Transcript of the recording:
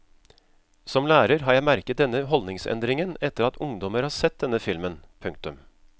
Som lærer har jeg merket denne holdningsendringen etter at ungdommer har sett denne filmen. punktum